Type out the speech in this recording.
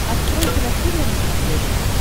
открой киносерия на смотрешке